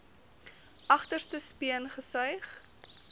agterste speen gesuig